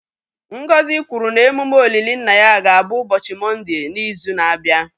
Ngozi kwuru na emume olili nna ya ga-abụ ụbọchị Mọnde n'izu na-abịa.